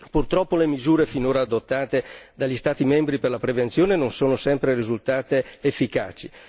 Purtroppo le misure finora adottate dagli Stati membri per la prevenzione non sono sempre risultate efficaci.